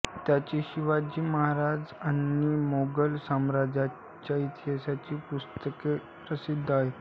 त्यांची शिवाजी महाराज आणि मोगल साम्राज्याच्या इतिहासावरची पुस्तके प्रसिद्ध आहेत